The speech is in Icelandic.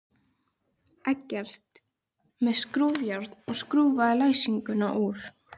Eggert með skrúfjárn og skrúfaði læsinguna úr.